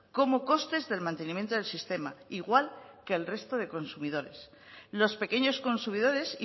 como costes del mantenimiento del sistema igual que el resto de consumidores los pequeños consumidores